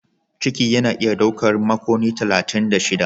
Ciki yana iya ɗaukar makonni talatin da shida.